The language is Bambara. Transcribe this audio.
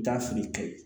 Da fili kayi